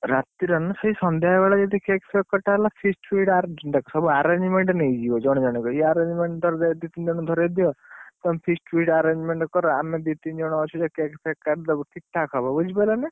ରାତିରେ ନା, ସେଇ ସନ୍ଧ୍ୟାବେଳେ ବି ଯଦି cake ଫେକ କଟା ହେଲା feast feast ଆରେ ଦେଖ ସବୁ arrangement ନେଇଯିବେ ଜଣଜଣ କି ଯିଏ arrangement ତାର ଦାୟିତ୍ବ ଦି ତିନି ଜଣକୁ ଧରେଇଦିଅ ତମେ feast feast arrangement କର ଆମେ ଦି ତିନ ଜଣ ଅଛୁ ସେ cake ଫେକ କାଟି ଦବୁ, ଠିକ୍ ଠାକ୍ ହବ ବୁଝିପାରିଲ ନା?